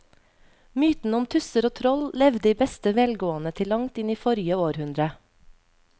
Mytene om tusser og troll levde i beste velgående til langt inn i forrige århundre.